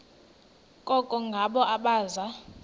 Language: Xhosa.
koko ngabo abaza